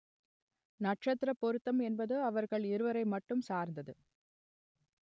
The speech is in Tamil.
நட்சத்திரப் பொருத்தம் என்பது அவர்கள் இருவரை மட்டும் சார்ந்தது